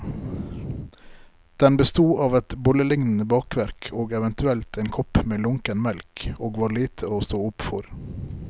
Den besto av et bollelignende bakverk og eventuelt en kopp med lunken melk, og var lite å stå opp for.